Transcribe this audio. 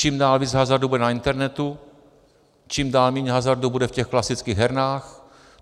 Čím dál víc hazardu bude na internetu, čím dál méně hazardu bude v těch klasických hernách.